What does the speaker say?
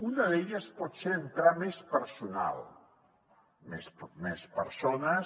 una d’elles pot ser entrar més personal més persones